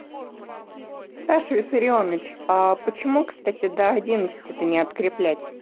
саша виссарионович а почему кстати до одиннадцати то это не откреплять